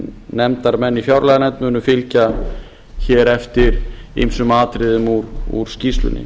nefndarmenn í fjárlaganefnd munu fylgja hér eftir ýmsum atriðum úr skýrslunni